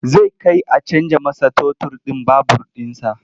Zai kai a canja masa totur ɗin babur ɗinsa.